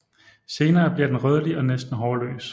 Senere bliver den rødlig og næsten hårløs